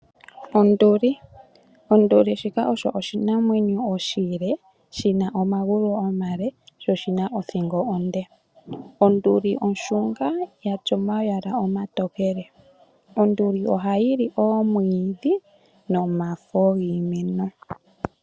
Onduli. Onduli shika oshinamwenyo oshile shina omagulu omale sho oshina othingo onde. Onduli onshunga ya tya omayala omatokele. Onduli ohayi li oomwiidhi nomafo giimeno.